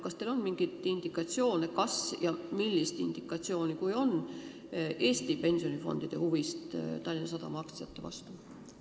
Kas teil on mingit indikatsiooni, et Eesti pensionifondid tunnevad huvi Tallinna Sadama aktsiate vastu?